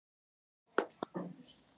Þetta kostar, segir Heiða Björg.